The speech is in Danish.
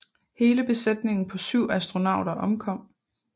Hele besætningen på 7 astronauter omkom